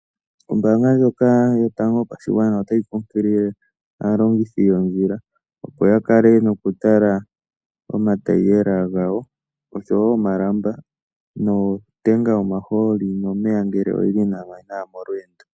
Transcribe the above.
Ombaanga ndjoka yotango yopashigwana otayi nkunkilie aalongithi yoondjila opo ya kala nokutala nawa omatayiyela gawo oshowo omalamba notenga yomahooli ngele oyili ngaa nawa nokuya molweendo.